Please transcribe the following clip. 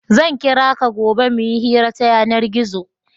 Zan kira ka gobe mu yi hira ta yanar-gizo.